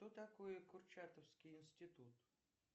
что такое курчатовский институт